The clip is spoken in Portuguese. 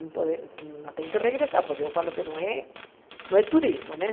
Não pode tem que voltar, porque eu falo que não é não é turismo né.